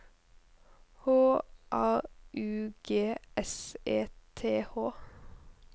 H A U G S E T H